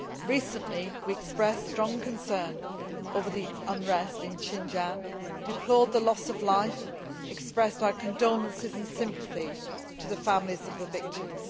Recently we expressed strong concern over the unrest in Xinjiang, deplored the loss of life, and expressed our condolences and sympathy to the families of the victims.